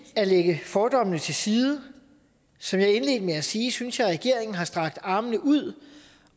at lægge fordommene til side som jeg indledte med at sige synes jeg regeringen har strakt armene ud